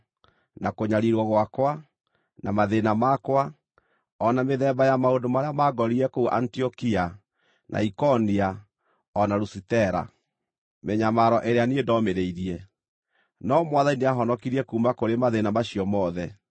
na kũnyariirwo gwakwa, na mathĩĩna makwa, o na mĩthemba ya maũndũ marĩa maangorire kũu Antiokia, na Ikonia, o na Lusitera, mĩnyamaro ĩrĩa niĩ ndomĩrĩirie. No Mwathani nĩahonokirie kuuma kũrĩ mathĩĩna macio mothe.